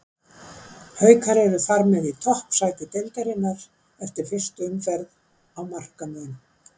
Haukar eru þar með í toppsæti deildarinnar eftir fyrstu umferð á markamun.